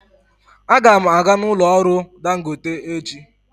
Aga m aga n'ụlọ ọrụ dangote echi.